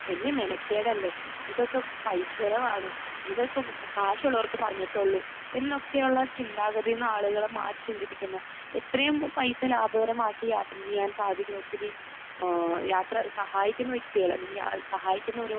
വലിയ മെനക്കേടല്ലേ? ഇതൊക്കെ പൈസ ചിലവാണ്. ഇതൊക്കെ കാശ് ഉള്ളവർക്ക് പറഞ്ഞിട്ടുള്ളു. എന്നൊക്കെയുള്ള ചിന്താഗതിയിൽ നിന്ന് ആളുകളെ മാറ്റി ചിന്തിപ്പിക്കുന്ന, എത്രയും പൈസ ലാഭകരമാക്കി യാത്ര ചെയ്യാൻ സാധിക്കും. ഒത്തിരി ഏഹ് യാത്ര സഹായിക്കുന്ന വ്യക്തി അല്ലെങ്കിൽ സഹായിക്കുന്ന ഒരു